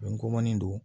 Nkomanin don